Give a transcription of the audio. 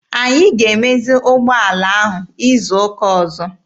Anyị ga-emezi ụgbọala ahụ izu ụka ọzọ.